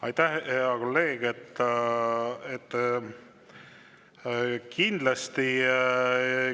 Aitäh, hea kolleeg!